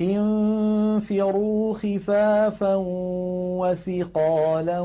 انفِرُوا خِفَافًا وَثِقَالًا